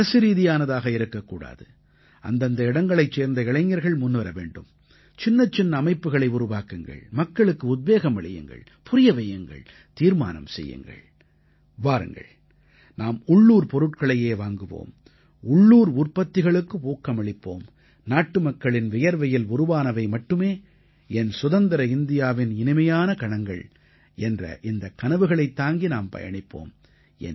இது அரசுரீதியானதாக இருக்க கூடாது அந்தந்த இடங்களைச் சேர்ந்த இளைஞர்கள் முன்வர வேண்டும் சின்னச்சின்ன அமைப்புக்களை உருவாக்குங்கள் மக்களுக்கு உத்வேகம் அளியுங்கள் புரிய வையுங்கள் தீர்மானம் செய்யுங்கள் வாருங்கள் நாம் உள்ளூர் பொருட்களையே வாங்குவோம் உள்ளூர் உற்பத்திகளுக்கு ஊக்கமளிப்போம் நாட்டுமக்களின் வியர்வையில் உருவானவை மட்டுமே என் சுதந்திர இந்தியாவின் இனிமையான கணங்கள் என்ற இந்தக் கனவுகளைத் தாங்கி நாம் பயணிப்போம்